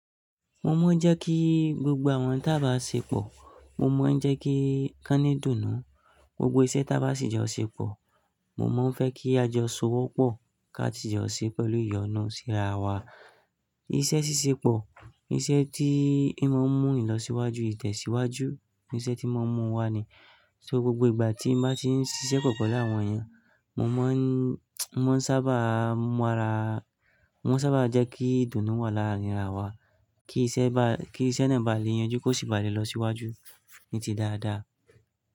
Mo mọ jẹ́ kí gbogbo àwọn tábà ṣẹ pọ̀, mo mọ jẹ́ kí kánní dùnnú, gbogbo iṣẹ́ tábà sì jọ ṣẹ pọ̀, mo mọ fẹ́ kí a jọ ṣowó pọ̀ ká tí jọ ṣí pẹ̀lú ìyọnu síra wa. Iṣẹ́ ṣíṣe pọ̀, iṣẹ́ tí i mọ n mú ni lọ síwájú, ìtẹ̀síwájú, iṣẹ́ tí mọ n mú wa ni. So gbogbo ìgbà tí n bá ti n ṣiṣẹ́ pọ pẹlú láwọn èèyàn, mo mọ n, mo n sábà mọ ara, mo n sábà jẹ́ kí dùnnú wà láàrin ara wa, kí iṣẹ́ ba, kí iṣẹ́ náà ba lé yanjú kó sì bà lé lọ síwájú ní ti dáadáa.